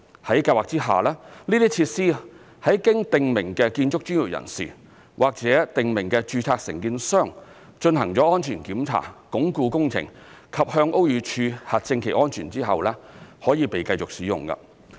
在計劃下，這些設施在經訂明建築專業人士或訂明註冊承建商進行安全檢查、鞏固工程及向屋宇署核證其安全後，可以被繼續使用。